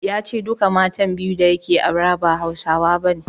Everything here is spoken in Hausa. Ya ce duka matan biyu da yake aure ba Hausawa bane.